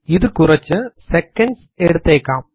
ഇത് കുറച്ചു സെക്കൻഡ്സ് എടുത്തേക്കാം